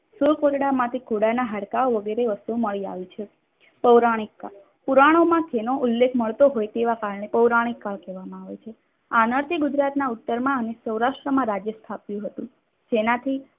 Suit Kotda માંથી ઘોડાના હાડકાઓ વગેરે વસ્તુઓ મળી આવી છે. પૌરાણિકતા પુરાણોમાં તેનો ઉલ્લેખ મળતો હોય તેના કાળને પૌરાણિક કલ કહેવાયમાં આવે છે. આનાથી ગુજરાતના ઉત્તરમાં અને સૌરાષ્ટ્રમાં રાજ્ય સ્થાપ્યું હતું. જેનાથી